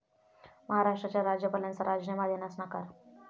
महाराष्ट्राच्या राज्यपालांचा राजीनामा देण्यास नकार